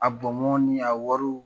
A bɔnbɔn ni a wariw